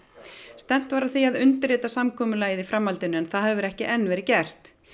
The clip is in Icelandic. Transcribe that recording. stefnt var að því að undirrita samkomulagið í framhaldinu en það hefur ekki enn verið gert